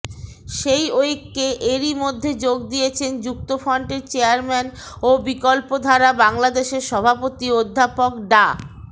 সেই ঐক্যে এরই মধ্যে যোগ দিয়েছেন যুক্তফ্রন্টের চেয়ারম্যান ও বিকল্পধারা বাংলাদেশের সভাপতি অধ্যাপক ডা